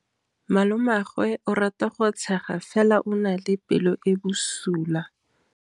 Malomagwe o rata go tshega fela o na le pelo e e bosula.